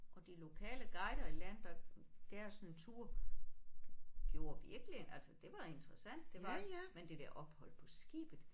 Og de lokale guider i land der gav os en tur gjorde virkelig altså det var interessant det var men det der ophold på skibet